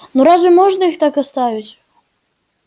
но разве можно их так оставить